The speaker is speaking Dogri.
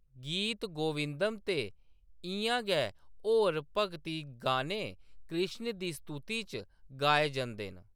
गीत गोविंदम ते इʼयां गै होर भगती गाने कृष्ण दी स्तुति च गाए जंदे न।